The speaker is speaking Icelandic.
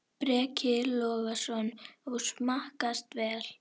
Breki Logason: Og smakkast vel?